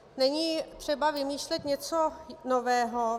Není třeba vymýšlet něco nového.